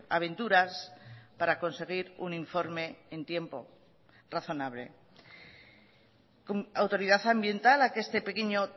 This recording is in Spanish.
aventuras para conseguir un informe en tiempo razonable autoridad ambiental a que este pequeño